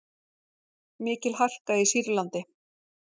Mikil harka í Sýrlandi